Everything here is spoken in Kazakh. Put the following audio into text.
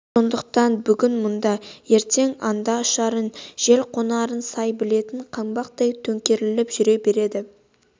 сондықтан бүгін мұнда ертең анда ұшарын жел қонарын сай білетін қаңбақтай төңкеріліп жүре береді